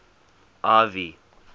ivy